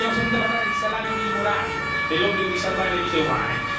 L'abbiamo sentita parlare di salario minimo orario e dell'obbligo di salvare le vite umane.